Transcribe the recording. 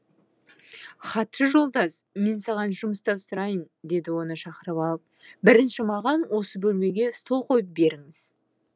хатшы жолдас мен саған жұмыс тапсырайын деді оны шақырып алып бірінші маған осы бөлмеге стол қойып беріңіз